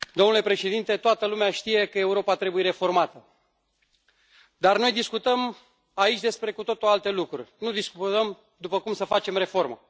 Domnule președinte, toată lumea știe că Europa trebuie reformată, dar noi discutăm aici despre cu totul alte lucruri, nu discutăm cum să facem reformă.